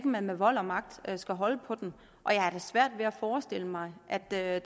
man med vold og magt skal holde på dem jeg har da svært ved at forestille mig at der er